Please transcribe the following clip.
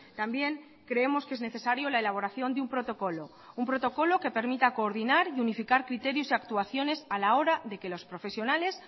también creemos que es necesario la elaboración de un protocolo un protocolo que permita coordinar y unificar criterios y actuaciones a la hora de que los profesionales